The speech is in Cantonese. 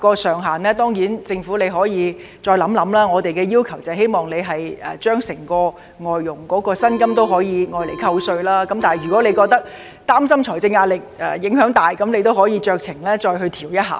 政府當然可以再考慮扣稅額上限，而我們則要求外傭的工資全數可獲扣稅，但如果政府擔心會構成沉重的財政壓力，可以酌情調整一下。